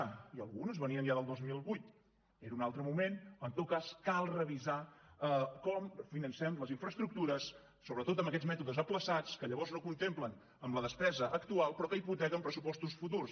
i algunes venien ja del dos mil vuit era un altre moment en tot cas cal revisar com financem les infraestructures sobretot amb aquests mètodes ajornats que llavors no es contemplen en la despesa actual però que hipotequen pressupostos futurs